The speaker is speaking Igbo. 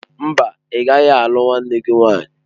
Mba, ị gaghị alụ nwanne gị nwanyị.